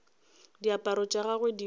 diaparo tša gagwe di be